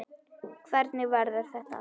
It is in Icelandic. Hvernig verður þetta allt?